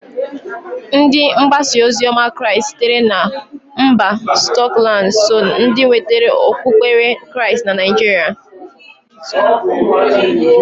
Ndi mgbasaozioma crịast sitere mba skọtland so ndi nwetara okpukpere crịast na Naijịrịa.